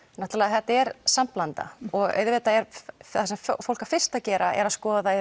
þetta er samblanda og auðvitað er það sem fólk á fyrst að gera er að skoða